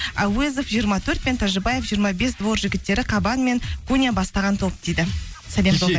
әуезов жиырма төрт пен тәжібаев жиырма бес двор жігіттері қабан мен куня бастаған топ дейді сәлем